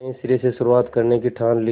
नए सिरे से शुरुआत करने की ठान ली